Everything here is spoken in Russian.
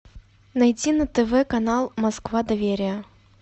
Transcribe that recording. найти на тв канал москва доверие